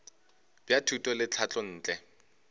bja thuto le tlhahlo ntle